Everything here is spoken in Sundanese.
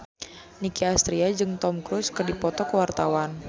Nicky Astria jeung Tom Cruise keur dipoto ku wartawan